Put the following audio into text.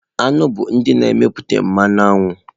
Aṅụ bụ ndị na-emepụta mmanụ aṅụ.